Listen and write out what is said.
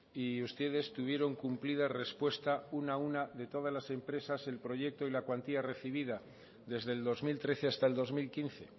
y ustedes tuvieron cumplida respuesta una a una de todas las empresas el proyecto y la cuantía recibida desde el dos mil trece hasta el dos mil quince